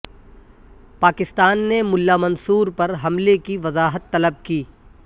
پاکستان نے ملا منصور پر حملے کی وضاحت طلب کی